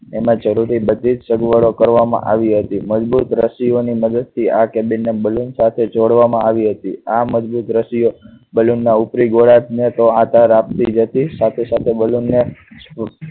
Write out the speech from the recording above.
તેમાં જરૂરી બધી સગવડો કરવામાં આવી હતી. મજબૂત રસસી ઓની મદદથી આગ ને balloon સાથે જોડવા માં આવી હતી. આ મજબૂત રાશિ ઓ balloon ના ઉપરી ગોળાકા ને તો આધાર આપતી હતી સાથે સાથે balloon ને